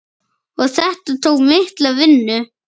Og þetta tók mikla vinnu.